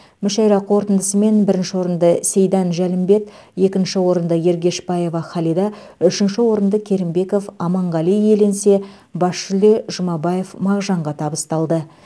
мүшәйра қорытындысымен бірінші орынды сейдан жәлімбет екінші орынды ергешбаева халида үшінші орынды керімбеков аманғали иеленсе бас жүлде жұмабаев мағжанға табысталды